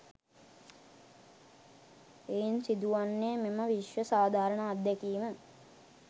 එයින් සිදු වන්නේ මෙම විශ්ව සාධාරණ අත්දැකීම